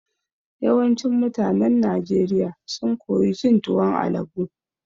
Yawancin mutanen Najeriya sun koyi cin tuwon alabo.